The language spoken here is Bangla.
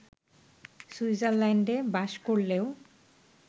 সুইজারল্যান্ডে বাস করলেও